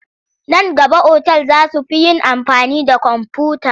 Nan gaba otal za su fi yin da amfani da komfuta..